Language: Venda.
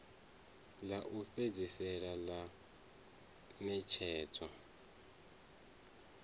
ḽa u fhedzisela ḽa ṋetshedzo